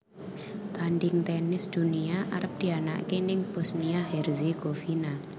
Tanding tenis dunia arep dianaake ning Bosnia Herzegovina